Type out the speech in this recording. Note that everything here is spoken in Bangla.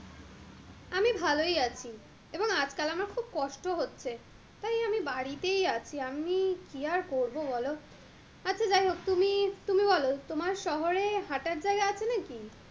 আমি ভালই আছি এবং আজকাল আমার খুব কষ্ট হচ্ছে তাই আমি বাড়িতেই আছি, আমি কি আর করবো বলো? আচ্ছা যাই হোক তুমি~তুমি বলো তোমার শহরে হাঁটার জায়গা আছে নাকি?